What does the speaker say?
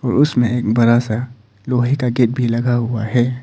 उसमें एक बड़ा सा लोहे का गेट भी लगा हुआ है।